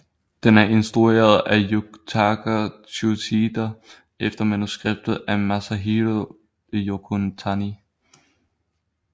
Den er instrueret af Yutaka Tsuchida efter manuskript af Masahiro Yokotani